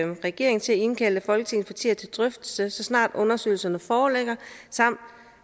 regeringen til at indkalde folketingets partier til drøftelse så snart undersøgelserne foreligger samt